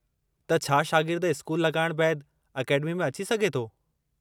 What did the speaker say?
त छा शागिर्द स्कूल लॻाइणु बैदि अकेडमी में अची सघे थो।